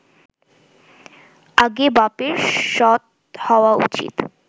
আগে বাপের সৎ হওয়া উচিত